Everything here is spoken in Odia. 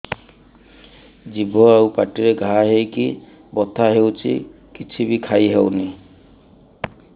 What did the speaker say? ଜିଭ ଆଉ ପାଟିରେ ଘା ହେଇକି ବଥା ହେଉଛି କିଛି ବି ଖାଇହଉନି